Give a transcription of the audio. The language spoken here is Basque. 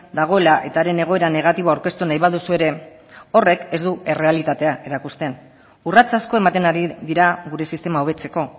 dagoela eta haren egoeran negatibo aurkeztu nahi baduzu ere horrek ez du errealitatea erakusten urrats asko ematen ari dira gure sistema hobetzeko